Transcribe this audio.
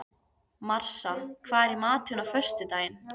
Marsa, hvað er í matinn á föstudaginn?